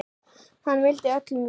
Hann vildi öllum vel.